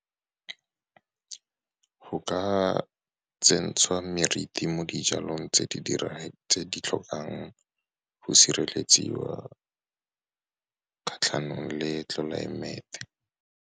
Go ka tsentshwa meriti mo dijalong tse di tlhokang go sireletsiwa kgatlhanong le tlelaemete.